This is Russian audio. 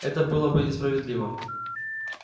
это было бы несправедливо